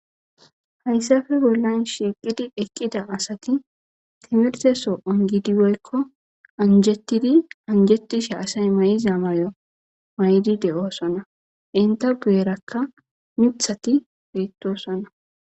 Haysappe bollan shiqidi eqidda asati timrtesso ongidi woykko angetidi aysa mayzza mayomayidi de'sona entta guyerakka .ithati bettosona.